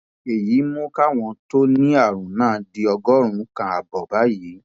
èyí mú káwọn tó ti ní àrùn náà di ọgọrùnún kan ààbọ báyìí